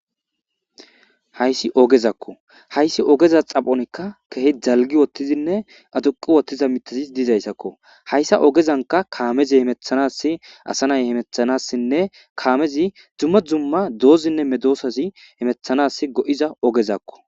Hayssi ogezakko hayssa ogeza xaphozan keehi dalgi wothidinne aduqqi ekkiza mithay dizayssako. hayssa ogezankka kaamezi hemetanaas asanay hemettanaasinnekaamezi dumma dumma dozazinne medosazi hamettizaogezakko.